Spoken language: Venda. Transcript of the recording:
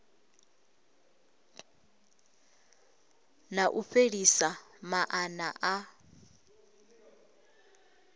na u fhelisa maana a